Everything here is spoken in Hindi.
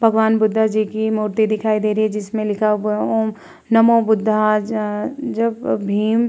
भगवान बुद्ध जी की मूर्ति दिखाई दे रही है। जिसमें लिखा हुआ है ओम नमो बुद्धाय ज जब भीम --